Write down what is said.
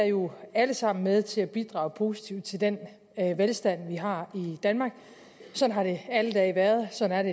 jo alle sammen er med til at bidrage positivt til den velstand vi har i danmark sådan har det alle dage været sådan